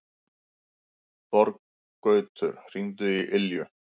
Þorgautur, hringdu í Ylju.